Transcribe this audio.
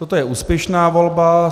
Toto je úspěšná volba.